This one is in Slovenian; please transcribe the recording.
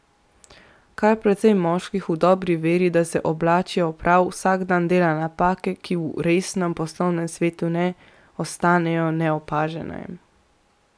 Kar precej moških v dobri veri, da se oblačijo prav, vsak dan dela napake, ki v resnem poslovnem svetu ne ostanejo neopažene.